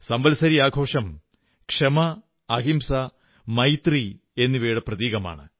സംവത്സരി ആഘോഷം ക്ഷമ അഹിംസ മൈത്രി എന്നിവയുടെ പ്രതീകമാണ്